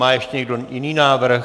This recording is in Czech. Má ještě někdo jiný návrh?